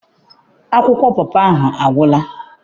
Akwụkwọ pọpọ ahụ agwụla.